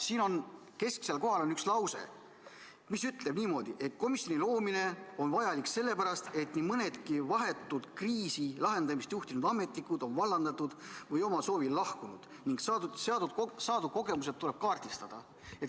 Siin on kesksel kohal üks lause, mis ütleb niimoodi: "Komisjoni loomine on vajalik juba selle pärast, et nii mõnedki vahetult kriisi lahendamist juhtinud ametnikud on vallandatud või omal soovil lahkunud, ning saadud kogemused tuleb kaardistada ...